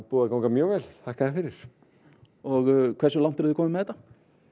búið að ganga mjög vel þakka þér fyrir og hversu langt eruð þið komin með þetta